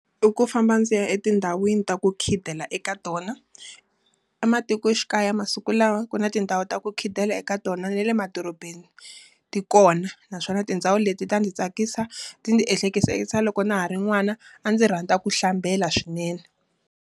I ku famba ndzi ya etindhawini ta ku khidela eka tona. Ematikoxikaya masiku lawa ku na tindhawu ta ku khidela eka tona na le madorobeni ti kona. Naswona tindhawu leti ta ndzi tsakisa, ti ndzi ehleketisa loko na ha ri n'wana, a ndzi rhandza ku hlambela swinene.